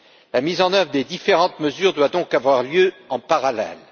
La mise en œuvre des différentes mesures doit donc avoir lieu en parallèle.